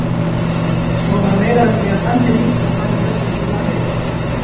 Svo var meira að segja Danni líka farinn vestur til Ameríku.